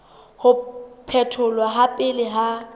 ho phetholwa ha pele ha